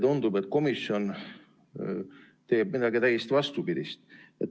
Tundub, et komisjon tegutseb täiesti vastupidiselt.